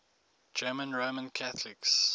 german roman catholics